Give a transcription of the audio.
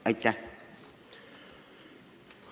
Aitäh!